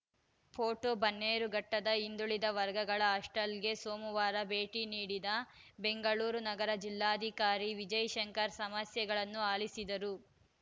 photo ಬನ್ನೇರುಘಟ್ಟದ ಹಿಂದುಳಿದ ವರ್ಗಗಳ ಹಾಸ್ಟೆಲ್‌ಗೆ ಸೋಮವಾರ ಭೇಟಿ ನೀಡಿದ ಬೆಂಗಳೂರು ನಗರ ಜಿಲ್ಲಾಧಿಕಾರಿ ವಿಜಯಶಂಕರ್‌ ಸಮಸ್ಯೆಗಳನ್ನು ಆಲಿಸಿದರು